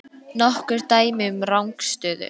Nokkur dæmi um rangstöðu?